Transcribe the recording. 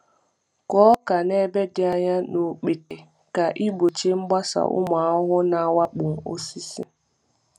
Kụọ ọka n’ebe dị anya na okpete ka ị gbochie mgbasa ụmụ ahụhụ na-awakpo osisi.